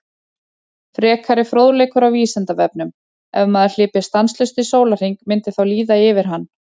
Frekari fróðleikur á Vísindavefnum: Ef maður hlypi stanslaust í sólarhring myndi þá líða yfir hann?